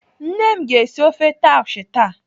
Nne m ga-esi ofe taushe taa.